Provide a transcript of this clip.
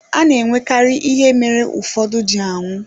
A na-enwekarị ihe mere ụfọdụ ji anwụ.